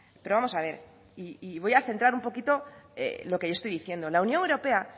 pero vamos a ver y voy a centrar un poquito lo que yo estoy diciendo la unión europea